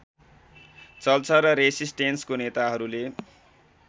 चल्छ र रेसिस्टेन्सको नेताहरूले